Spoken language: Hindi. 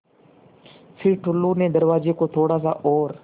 फ़िर टुल्लु ने दरवाज़े को थोड़ा सा और